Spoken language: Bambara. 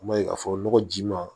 I b'a ye k'a fɔ nɔgɔ ji ma